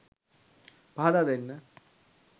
පහදා දෙන්න.